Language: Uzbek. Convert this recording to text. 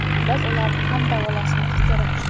Biz ularni ham davolashimiz kerak.